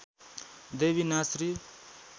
देवी नाच श्री